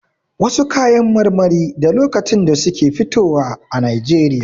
Wasu kayan marmari da lokacin da suke fitowa a Najeriya.